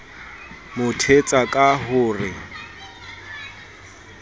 mo thetsa ka ho re